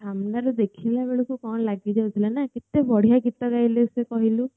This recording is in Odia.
ଆମେ ମନେ ଦେଖିଲେଣି ବୋଳିକା କେତେ ବଢିଆ ଗୀତାରେ